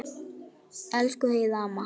Elsku Heiða amma.